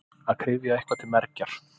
Að kryfja eitthvað til mergjar